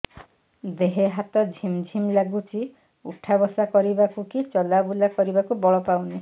ଦେହେ ହାତ ଝିମ୍ ଝିମ୍ ଲାଗୁଚି ଉଠା ବସା କରିବାକୁ କି ଚଲା ବୁଲା କରିବାକୁ ବଳ ପାଉନି